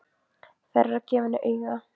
Þær eru að gefa henni auga.